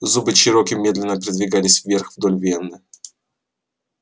зубы чероки медленно передвигались вверх вдоль вены